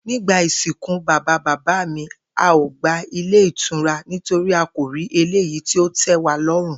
Nígbà ìsìnkú bàbá bàbá mi, a ò gba ilé ìtura nítorí a kò rí eléyìí tí ó té̩waló̩rùn